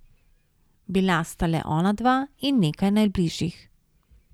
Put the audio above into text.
Bila sta le ona dva in nekaj najbližjih.